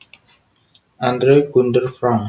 Andre Gunder Frank